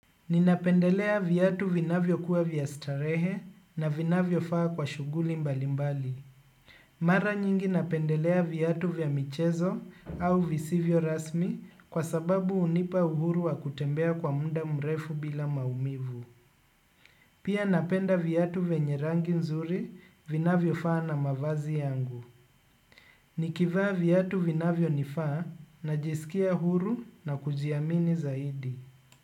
Ninapendelea viatu vinavyokuwa vya starehe na vinavyofaa kwa shughuli mbalimbali. Mara nyingi napendelea viatu vya michezo au visivyo rasmi kwa sababu hunipa uhuru wa kutembea kwa muda mrefu bila maumivu. Pia napenda viatu vyenye rangi nzuri vinavyofaa na mavazi yangu. Nikivaa viatu vinavyonifaa najisikia huru na kujiamini zaidi.